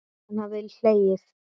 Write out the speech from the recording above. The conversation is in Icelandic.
Hann hafði hlegið.